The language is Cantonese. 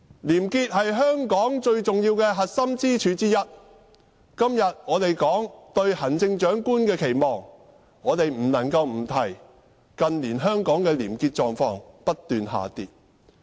廉潔是香港最重要的核心支柱之一，今天我們討論對行政長官的期望時，我們不能不指出近年香港的廉潔狀況不斷惡化。